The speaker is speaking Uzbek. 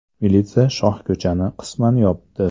Militsiya shohko‘chani qisman yopdi.